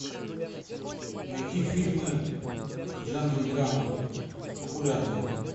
найти фильмы в жанре драма популярные